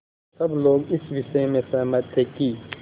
सब लोग इस विषय में सहमत थे कि